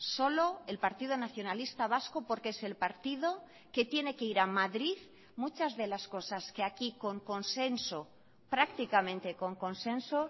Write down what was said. solo el partido nacionalista vasco porque es el partido que tiene que ir a madrid muchas de las cosas que aquí con consenso prácticamente con consenso